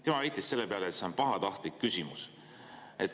Tema väitis selle peale, et see on pahatahtlik küsimus.